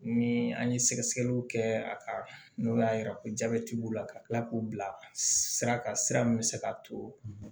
Ni an ye sɛgɛsɛgɛliw kɛ a kan n'o y'a jira ko jabɛti b'o la ka tila k'u bila sira kan sira min bɛ se ka to